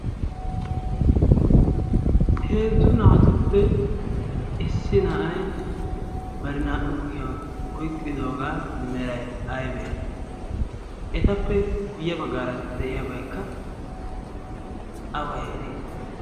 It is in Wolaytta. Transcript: heezzu naatuppe issi na7ai bari naa77u kushiyan oiqqidoogaa merai aibee? etappe guyye baggaara de7iyaabaikka awa heere?